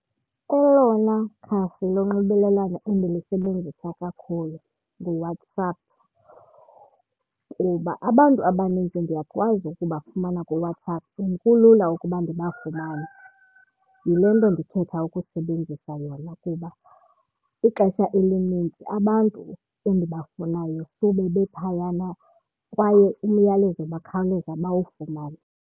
Elona khasi lonxibelelwano endilisebenzisa kakhulu nguWhatsApp kuba abantu abaninzi ndiyakwazi ukubafumana kuWhatsApp and kulula ukuba ndibafumane. Yile nto ndikhetha ukusebenzisa yona kuba ixesha elininzi abantu endibafunayo sube bephayana kwaye umyalezo bakhawuleza bawufumane.